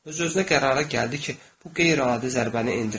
Öz-özünə qərara gəldi ki, bu qeyri-adi zərbəni endirəcək.